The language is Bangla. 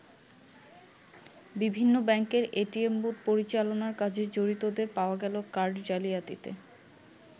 বিভিন্ন ব্যাংকের এটিএম বুথ পরিচালনার কাজে জড়িতদের পাওয়া গেল কার্ড জালিয়াতিতে।